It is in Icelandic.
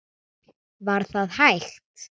Var það hægt?